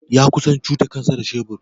Ya kusa cuta kansa da shebur.